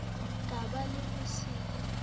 ka ba le ho se